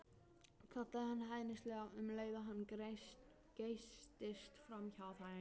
kallaði hann hæðnislega um leið og hann geystist framhjá þeim.